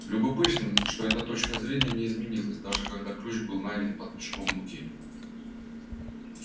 любопытно что эта точка зрения не изменилась даже когда ключ был найден под мешком муки